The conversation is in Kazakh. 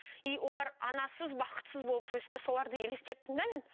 и олар анасыз бақытсыз болып өсті соларды елестеттім де мен